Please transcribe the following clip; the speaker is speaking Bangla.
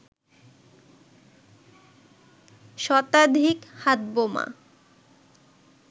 শতাধিক হাত বোমা